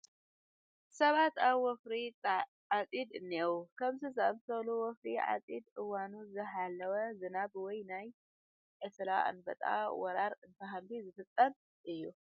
ሰባት ኣፍ ወፍሪ ዓፂድ እኔዉ፡፡ ከምዚ ዝኣምሰለ ወፍሪ ዓፂድ እዋኑ ዘይሓለወ ዝናብ ወይ ናይ ዕስለ ኣንበጣ ወረራ እንትህሉ ዝፍፀም እዩ፡፡